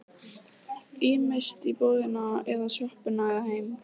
Ýmist í búðina eða í sjoppuna eða heim.